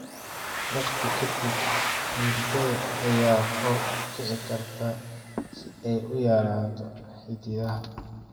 Waqti ka dib, huurada ayaa kor u kici karta si ay u yaraato xididadaada.